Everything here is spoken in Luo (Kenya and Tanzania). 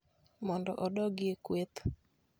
mondo odogi e kweth.